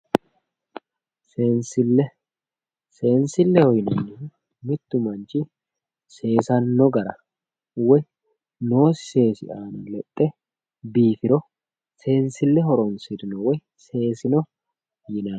seenslle seensilleho yinannihu mittu manchi seesanno gara woyi noosi seesi aana lexxe biifiro seensille horonsirino woy seesino yinanni.